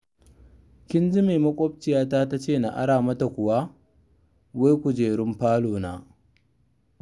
Kin ji me maƙwabciyata ta ce na ara mata kuwa? Wai kujerun falona!